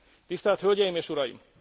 Tisztelt hölgyeim és uraim!